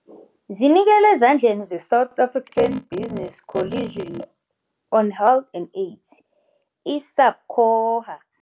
Zinikelwe ezandleni ze-South African Business Coalition on Health and Aids, i-SABCOHA